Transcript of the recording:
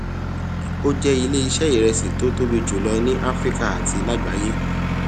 o jẹ ilé iṣé iresi tó tóbi jù ní áfíríkà àti lágbayé